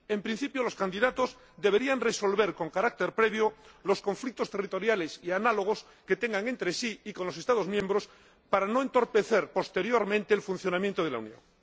En principio, los candidatos deberían resolver con carácter previo los conflictos territoriales y análogos que tengan entre sí y con los Estados miembros, para no entorpecer posteriormente el funcionamiento de la Unión.